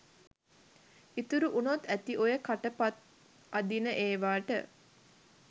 ඉතුරු වුනොත් ඇති ඔය කට පත් අදින ඒවට.